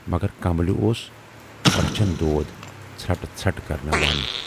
مگر کملہِ اوس رچھَن دود ژھرٹہٕ ژھرٹھ کرٕناوان۔